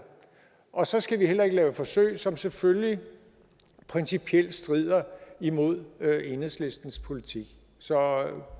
og så skal vi heller ikke lave forsøg som selvfølgelig principielt strider imod enhedslistens politik så